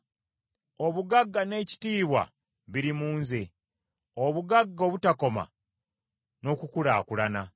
Obugagga n’ekitiibwa biri mu nze, obugagga obutakoma n’okukulaakulana.